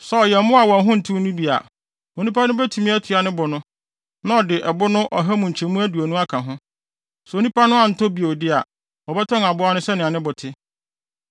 Sɛ ɔyɛ mmoa a wɔn ho ntew no bi a, onipa no betumi atua ne bo no, na ɔde ɛbo no ɔha mu nkyɛmu aduonu aka ho. Sɛ onipa no antɔ bio de a, wɔbɛtɔn aboa no sɛnea ne bo te.